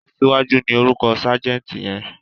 Aṣíwájú ni orúkọ ságẹ̀ǹtì yẹn.